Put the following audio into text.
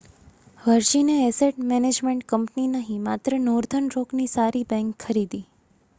વર્જિને asset management company નહીં માત્ર northern રોકની સારી બેંક' ખરીદી